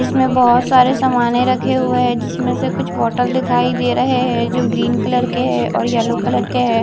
इसमें बहोत सारे समानें रखे हुए हैं जिसमें से कुछ बॉटल दिखाई दे रहे हैं जो ग्रीन कलर के हैं और येलो कलर के हैं।